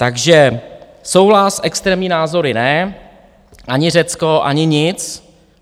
Takže souhlas, extrémní názory ne, ani Řecko, ani nic.